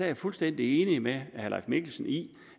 jeg fuldstændig enig med herre leif mikkelsen i